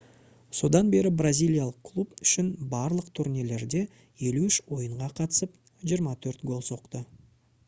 содан бері бразилиялық клуб үшін барлық турнирлерде 53 ойынға қатысып 24 гол соқты